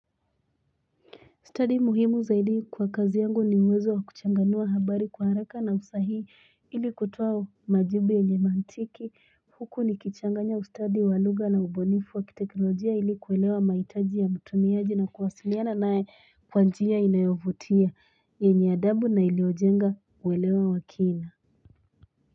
Ustadi muhimu zaidi kwa kazi yangu ni uwezo wa kuchanganua habari kwa haraka na usahihi ili kutoa majibi yenye mantiki huku ni kichanganya ustadi walugha na ubunifu wa kiteknojia ili kuelewa mahitaji ya mtumiaji na kuwasiliana nae kwa njia inayovutia yenye adabu na iliyojenga uelewa wakina.